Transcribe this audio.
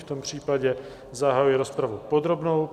V tom případě zahajuji rozpravu podrobnou.